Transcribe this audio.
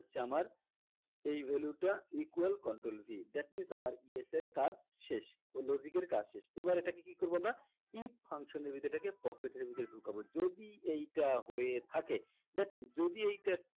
হচ্ছে আমার এই value টা equal control V that means আমার yes এর কাজ শেষ logic এর কাজ শেষ এবার এটাকে কি করবো আমরা if function এর ভিতরে এটাকে pocket এর ভিতরে ঢুকাবো যদি এইটা হয়ে থাকে that means যদি এইটা